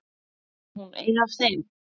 Er hún ein af þeim?